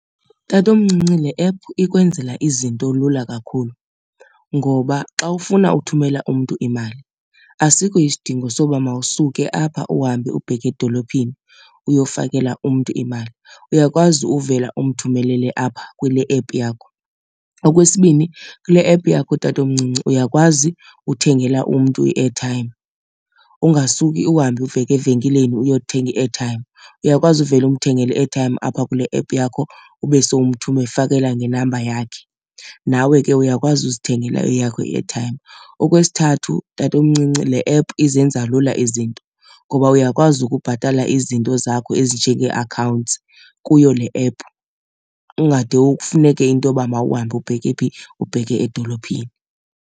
Tatomncinci, le app ikwenzela izinto lula kakhulu ngoba xa ufuna ukuthumela umntu imali asikho isidingo soba mawusuke apha uhambe ubheke edolophini uyofakela umntu imali, uyakwazi uvela umthumelele apha kule app yakho. Okwesibini kule app yakho tatomcinci uyakwazi uthengela umntu i-airtime, ungasuki uhambe uveke evenkileni uyothenga i-airtime. Uyakwazi uvele umthengele i-airtime apha kule app yakho ube somfakela ngenamba yakhe, nawe ke uyakwazi uzithengela eyakho i-airtime. Okwesithathu tatomncinci le app izenza lula izinto ngoba uyakwazi ukubhatala izinto zakho ezinjengee-accounts kuyo le app. Ungade kufuneke into yoba mawuhambe ubheke phi? Ubheke edolophini.